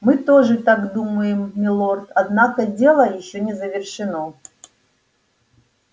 мы тоже так думаем милорд однако дело ещё не завершено